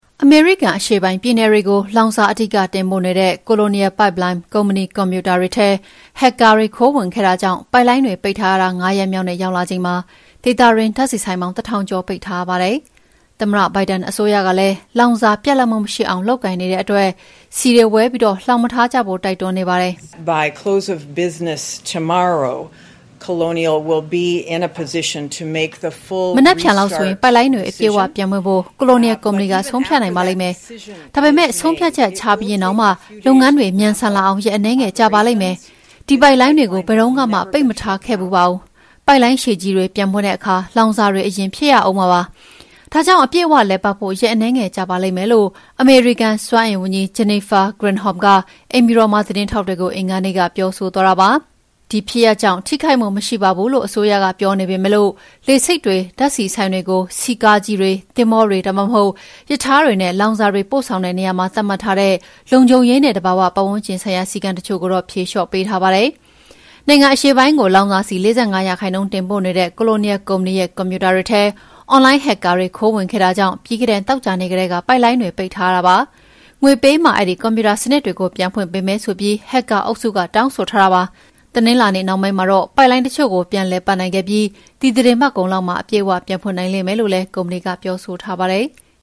အမေရိကန် အရှေ့ပိုင်းပြည်နယ်တွေကို လောင်စာအဓိက တင်ပို့နေတဲ့ Colonial Pipeline ကုမ္ပဏီကွန်ပျူတာတွေထဲ ဟက်ကာ ခိုးဝင်ခဲ့တာကြောင့် ပိုက်လိုင်းတွေ ပိတ်ထားရတာ ၅ ရက်မြောက်နေ့ရောက်လာချိန်မှာ ဒေသတွင်း ဓာတ်ဆီဆိုင်ပေါင်း ၁,၀၀၀ ကျော်ပိတ်ထားရပါတယ်။ သမ္မတဘိုင်ဒန်အစိုးရကလည်း လောင်စာပြတ်လပ်မှု မရှိအောင် လုပ်ကိုင်နေတဲ့အတွက် ဆီတွေ ဝယ်ပြီး လှောင်မထားကြဖို့ တိုက်တွန်းနေပါတယ်။ ”မနက်ဖြန်လောက်ဆိုရင် ပိုက်လိုင်းတွေ အပြည့်အ၀ ပြန်ဖွင့်ဖို့ Colonial ကုမ္ပဏီက ဆုံးဖြတ်နိုင်ပါလိမ့်မယ်။ ဒါပေမဲ့ ဆုံးဖြတ်ချက်ချပြီးရင်တောင်မှ လုပ်ငန်းတွေ မြန်ဆန်လာအောင် ရက် အနည်းငယ်ကြာပါလိမ့်မယ်။ ဒီပိုက်လိုင်းတွေကို ဘယ်တုန်းကမှ ပိတ်မထားခဲ့ဖူးပါဘူး။ ပိုက်လိုင်းရှည်ကြီးတွေ ပြန်ဖွင့်တဲ့အခါ လောင်စာတွေ အရင်ဖြည့်ရဦးမှာပါ။ ဒါကြောင့် အပြည့်အ၀ လည်ပတ်ဖို့ ရက်အနည်းငယ်ကြာပါလိမ့်မယ်။" လို့ အမေရိကန်စွမ်းအင်ဝန်ကြီး Jennifer Granholm က အိမ်ဖြူတော်မှာ သတင်းထောက်တွေကို အင်္ဂါနေ့က ပြောဆိုသွားတာဖြစ်ပါတယ်။ ဒီဖြစ်ရပ်ကြောင့် ထိခိုက်မှု မရှိပါဘူးလို့ အစိုးရက ပြောနေပေမဲ့ လေဆိပ်တွေ၊ ဓာတ်ဆီဆိုင်တွေကို ဆီကားကြီးတွေ၊ သင်္ဘောတွေ ဒါမှမဟုတ် ရထားတွေနဲ့ လောင်စာတွေ ပို့ဆောင်တဲ့နေရာမှာ သတ်မှတ်ထားတဲ့ လုံခြုံရေးနဲ့ သဘာဝပတ်ဝန်းကျင်ဆိုင်ရာ စည်းကမ်းတချို့ကိုတော့ ဖြေလျော့ပေးထားပါတယ်။ နိုင်ငံအရှေ့ပိုင်းကို လောင်စာဆီ ၄၅ ရာခိုင်နှုန်းတင်ပို့နေတဲ့ Colonial ကုမ္ပဏီရဲ့ ကွန်ပျူတာတွေထဲ အွန်လိုင်းဟက်ကာတွေ ခိုးဝင်ခဲ့တာကြောင့် ပြီးခဲ့တဲ့ သောကြာနေ့ကတည်းက ပိုက်လိုင်းတွေ ပိတ်ထားရတာပါ။ ငွေပေးမှ အဲဒီကွန်ပျူတာစနစ်တွေကို ပြန်ဖွင့်ပေးမယ်ဆိုပြီး ဟက်ကာအုပ်စုက တောင်းဆိုထားတာဖြစ်ပါတယ်။ တနင်္လာနေ့နှောင်းပိုင်းမှာ ပိုက်လိုင်းတချို့ကို ပြန်လည်ပတ်နိုင်ခဲ့ပြီး ဒီသီတင်းပတ်ကုန်လောက်မှာ အပြည့်အ၀ ပြန်ဖွင့်နိုင်မယ်လို့လည်း ကုမ္ပဏီက ပြောဆိုထားပါတယ်။